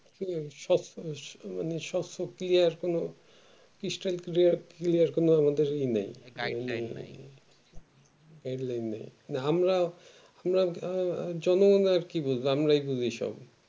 মানে সসো clear কোনো stal clear কোনো আমাদের ইয়ে নাই নাই আমরা জনগনের কি বুঝবো আমরাই বুঝি সব